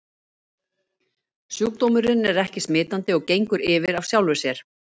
Sjúkdómurinn er ekki smitandi og gengur yfir af sjálfu sér.